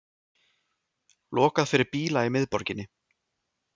Lokað fyrir bíla í miðborginni